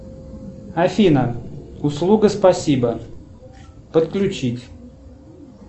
афина услуга спасибо подключить